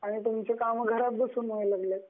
आणि तुमची कामं घरात बसून व्हायला लागली.